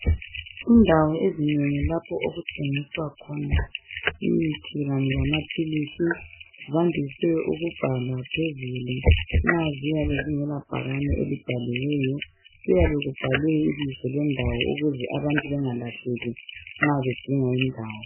Indawo ezinengi lapho okuthengiswa khona imithi lamaphilisi zandiswe ukubhalwa phezulu nxa ziyabe zingela bhakane elibhaliweyo. Kuyabe kubhalwe ibizo lendawo ukuze abantu bengalahleki nxa bedinga indawo.